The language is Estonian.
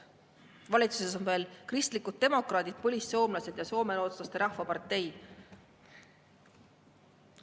Valitsuses on veel kristlikud demokraadid, põlissoomlased ja soomerootslaste rahvapartei.